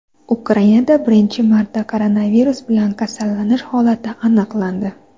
Ukrainada birinchi marta koronavirus bilan kasallanish holati aniqlandi.